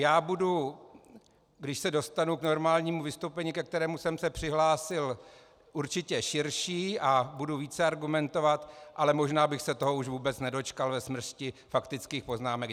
Já budu, když se dostanu k normálnímu vystoupení, ke kterému jsem se přihlásil, určitě širší a budu více argumentovat, ale možná bych se toho už vůbec nedočkal ve smršti faktických poznámek.